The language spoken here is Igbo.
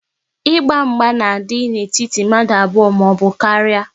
Ịgba mgba na-adị n'etiti mmadụ abụọ maọbụ karịa